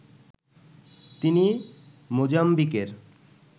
তিনি মোজাম্বিকের